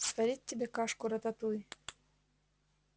сварить тебе кашку-рататуй